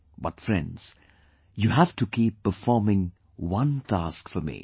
But, friends, you have to keep performing one task for me